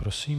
Prosím.